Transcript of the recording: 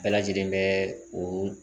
Bɛɛ lajɛlen bɛ o